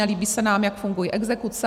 Nelíbí se nám, jak fungují exekuce.